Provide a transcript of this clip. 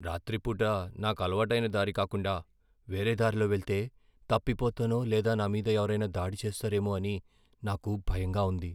రాత్రి పూట నాకు అలవాటైన దారి కాకుండా వేరే దారిలో వెళ్తే తప్పిపోతానో లేదా నామీద ఎవరైనా దాడి చేస్తారేమో అని నాకు భయంగా ఉంది.